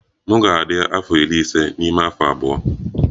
M ga-adị afọ iri ise n'ime afọ abụọ.